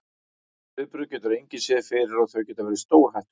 Þau viðbrögð getur engin séð fyrir og þau geta verið stórhættuleg.